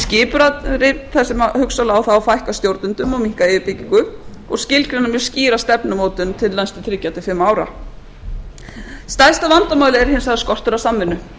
þar sem hugsanlega á þá að fækka stjórnendum og minnka yfirbyggingu og skilgreina mjög skýra stefnumótun til næstu þrjú ja til fimm ára stærsta vandamálið er hins vegar skortur á samvinnu